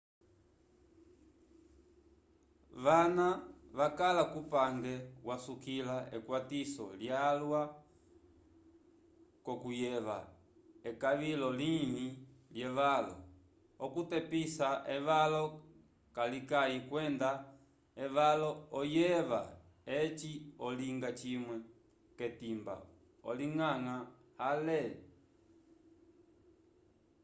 vana vakala kupange vasukila ekwatiso lyalwa k'okuyeva ekalo livĩ lyevalo okutepisa evalo kalikayi kwenda evalo oyeva eci olinga cimwe k'etimba olinganga ale